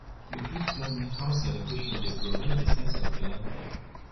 you fit tell me how celebration dey provide di sense of belonging